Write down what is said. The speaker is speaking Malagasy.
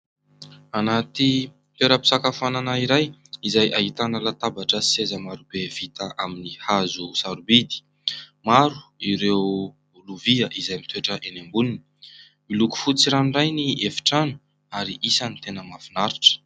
Anaty toerampisakafoanana iray izay ahitana latabatra sy seza maro be vita amin'ny hazo sarobidy. Maro ireo lovia izay mitoetra eny amboniny. Miloko fotsy ranoray ny efitrano ary isan'ny tena mahafinaritra.